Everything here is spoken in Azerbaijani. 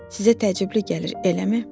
Sizə təəccüblü gəlir, eləmi?